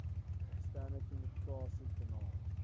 eksterne kommunikasie kanale